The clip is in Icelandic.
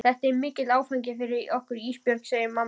Þetta er mikill áfangi fyrir okkur Ísbjörg, segir mamma.